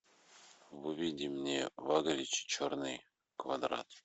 выведи мне ваглич черный квадрат